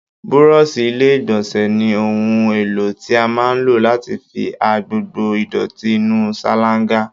Búrọ̀ọ̀ṣì ilé ìgbọ̀nsẹ̀ ni ohun èlò tí a máa ń lò láti fi ha gbogbo ìdọ̀tí inú ṣáláńgá